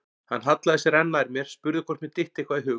Hann hallaði sér enn nær mér, spurði hvort mér dytti eitthvað í hug.